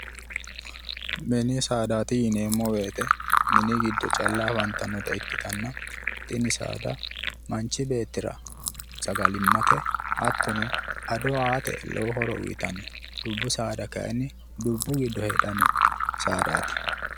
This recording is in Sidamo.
Mini saadaati yineemmo woyiite mini guddo calla afantannota ikkitanna tini saada manchi beettira sagalimmate hattono ado aate lowo horo uyiitanno dubbu saada kayiinni dubbu giddo heedhanno saadaati